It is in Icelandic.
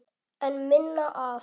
En minna af?